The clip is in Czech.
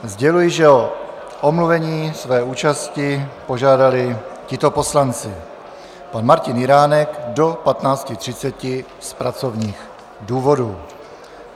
Sděluji, že o omluvení své účasti požádali tito poslanci: pan Martin Jiránek do 15.30 z pracovních důvodů.